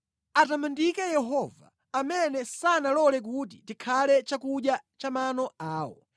Atamandike Yehova, amene sanalole kuti tikhale chakudya cha mano awo.